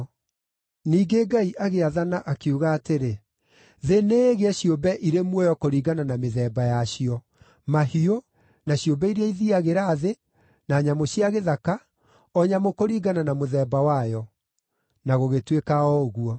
Ningĩ Ngai agĩathana, akiuga atĩrĩ, “Thĩ nĩĩgĩe ciũmbe irĩ muoyo kũringana na mĩthemba yacio: mahiũ, na ciũmbe iria ithiiagĩra thĩ, na nyamũ cia gĩthaka, o nyamũ kũringana na mũthemba wayo.” Na gũgĩtuĩka o ũguo.